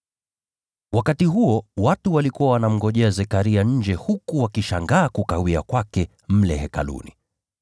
Wakati huo watu walikuwa wanamngojea Zekaria nje huku wakishangaa kukawia kwake mle Hekaluni.